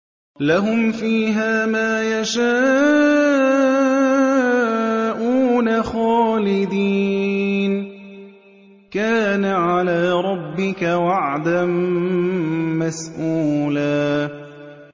لَّهُمْ فِيهَا مَا يَشَاءُونَ خَالِدِينَ ۚ كَانَ عَلَىٰ رَبِّكَ وَعْدًا مَّسْئُولًا